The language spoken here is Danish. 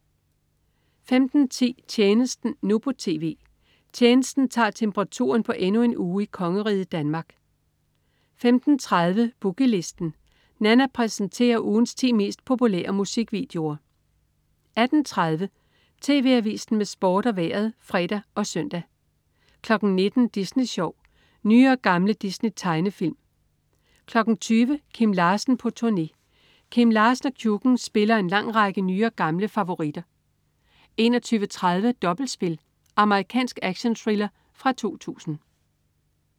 15.10 Tjenesten, nu på TV. "Tjenesten" tager temperaturen på endnu en uge i kongeriget Danmark 15.30 Boogie Listen. Nanna præsenterer ugens 10 mest populære musikvideoer 18.30 TV Avisen med Sport og Vejret (fre og søn) 19.00 Disney Sjov. Nye og gamle Disney-tegnefilm 20.00 Kim Larsen på turné. Kim Larsen & Kjukken spiller en lang række nye og gamle favoritter 21.30 Dobbeltspil. Amerikansk actionthriller fra 2000